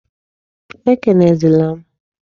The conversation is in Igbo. Ekelezi na m!